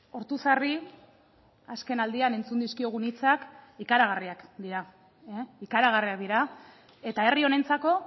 ortuzarri azkenaldian entzun dizkiogun hitzak ikaragarriak dira ikaragarriak dira eta herri honentzako